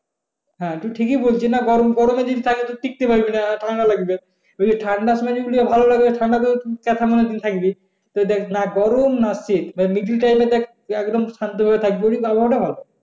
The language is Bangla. হ্যাঁ তুমি ঠিকই বলছো না গরম, গরমে যদি থাকো ঠিকতে পারবে না ঠান্ডা লাগবে। যদি ঠান্ডার সময় ভালো লাগে ঠান্ডাতে কেথা মুড়ি দিয়ে থাকবে। তো দেখ না গরম না শীত বা middle time এ দেখ একদম শান্তভাবে থাকবি। ওই আবহাওয়া টা ভালো।